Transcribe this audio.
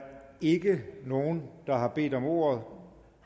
ikke nogen der har bedt om ordet